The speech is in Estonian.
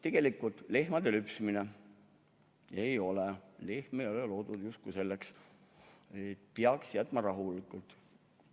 Näiteks lehmade lüpsmine – lehm ei ole justkui selleks loodud, peaks ta rahule jätma.